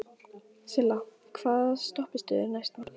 Silla, hvaða stoppistöð er næst mér?